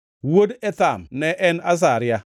Wuod Ethan ne en: Azaria.